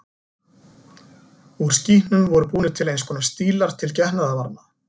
Úr skítnum voru búnir til eins konar stílar til getnaðarvarna.